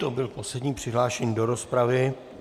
To byl poslední přihlášený do rozpravy.